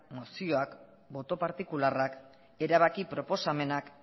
mozioak boto partikularrak erabaki proposamenak